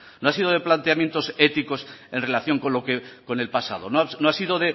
no ha sido de planteamientos éticos en relación con el pasado no ha sido